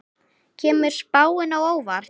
Kemur spáin á óvart?